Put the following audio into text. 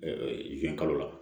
zenkalo la